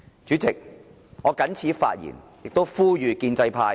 主席，我謹此發言，亦呼籲建制派回頭事岸。